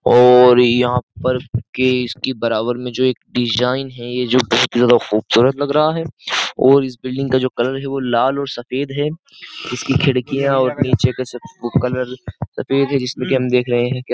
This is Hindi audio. और यहां पर के इसकी बराबर में जो एक डिजाइन है ये जो बहुत ही ज्यादा खूबसूरत लग रहा है और इस बिल्डिंग का जो कलर है वो लाल और सफेद है इसकी खिड़कियां और नीचे का कलर सफेद है जिसमें कि हम देख रहे हैं।